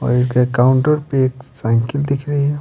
और इनके काउंटर पे एक साइकिल दिख रही है।